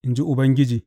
in ji Ubangiji.